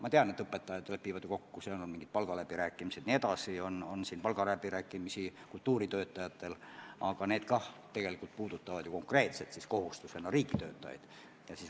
Ma tean, et õpetajad lepivad kokku, seal on mingid palgaläbirääkimised jne, ka on palgaläbirääkimisi kultuuritöötajatel, aga need puudutavad konkreetse kohustusena riigitöötajaid.